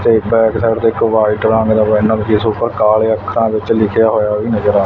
ਤੇ ਇਕ back side ਤੇ ਇੱਕ ਵਾਇਟ ਰੰਗ ਦਾ ਇੰਨਾ ਵਧੀਆ ਸੋਫਾ ਕਾਲੇ ਅੱਖਰਾਂ ਵਿੱਚ ਲਿਖਿਆ ਹੋਇਆ ਵੀ ਨਜ਼ਰ ਆ--